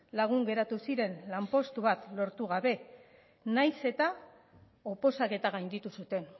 lagun geratu ziren lanpostu bat lortu gabe nahiz eta oposaketa gainditu zuten